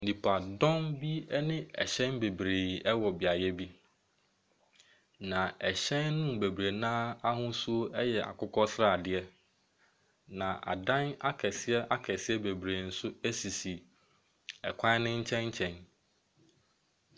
Nipadɔm bi ɛne ɛhyɛn bebree ɛwɔ beaeɛ bi. Na ɛhyɛn no mu bebree naa ahosuo ɛyɛ akokɔ sradeɛ. na adan akɛseɛ akɛseɛ bebree nso sisi ɛkwan no nkyɛnkyɛn.